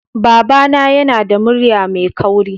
Babana yana da murya mai kauri